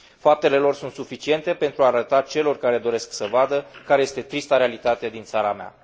Faptele lor sunt suficiente pentru a arăta celor care doresc să vadă care este trista realitate din țara mea.